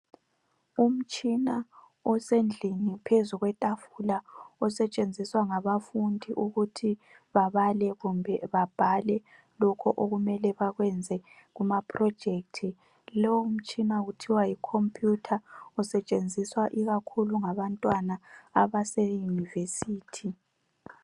Umtshina osendlini phezu kwetafula, osetshenziswa ngabafundi ukuthi babale kumbe babhale lokhu okumele bakwenze kumaprojects. Lo mtshina kuthiwa yicomputer. Usetshenziswa ikakhulu ngabantwana abase University.